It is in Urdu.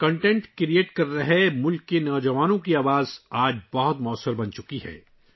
مواد تیار کرنے والے ملک کے نوجوانوں کی آواز آج بہت موثر ہو چکی ہے